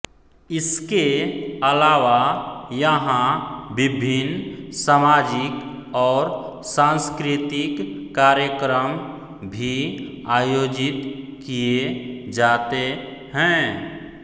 इसके अलावा यहां विभिन्न सामाजिक और सांस्कृतिक कार्यक्रम भी आयोजित किये जाते हैं